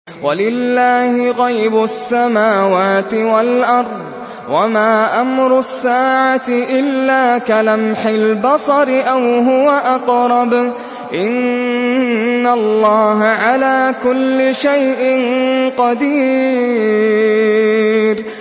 وَلِلَّهِ غَيْبُ السَّمَاوَاتِ وَالْأَرْضِ ۚ وَمَا أَمْرُ السَّاعَةِ إِلَّا كَلَمْحِ الْبَصَرِ أَوْ هُوَ أَقْرَبُ ۚ إِنَّ اللَّهَ عَلَىٰ كُلِّ شَيْءٍ قَدِيرٌ